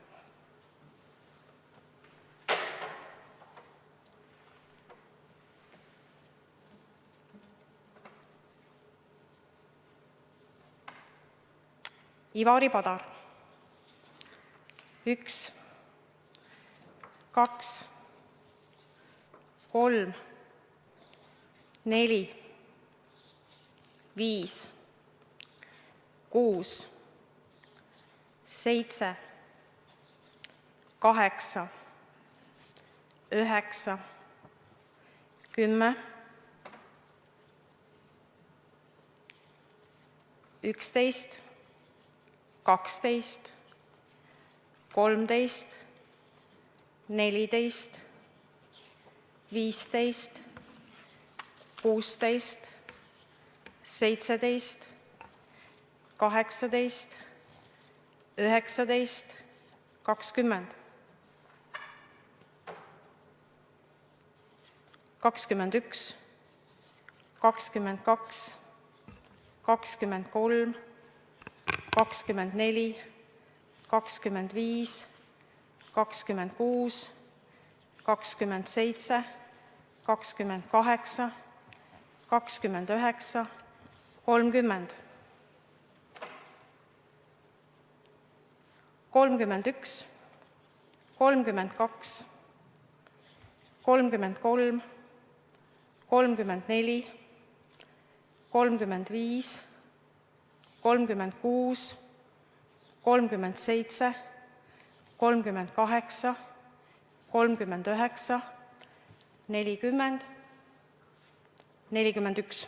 Ivari Padar: 1, 2, 3, 4, 5, 6, 7, 8, 9, 10, 11, 12, 13, 14, 15, 16, 17, 18, 19, 20, 21, 22, 23, 24, 25, 26, 27, 28, 29, 30, 31, 32, 33, 34, 35, 36, 37, 38, 39, 40, 41.